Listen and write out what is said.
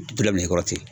nɛgɛkɔrɔsigi